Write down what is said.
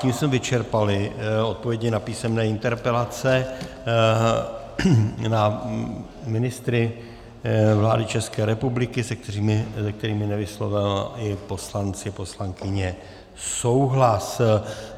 Tím jsme vyčerpali odpovědi na písemné interpelace na ministry vlády České republiky, se kterými nevyslovili poslanci, poslankyně souhlas.